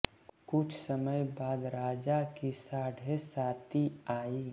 कुछ समय बाद राजा की साढ़े साती आयी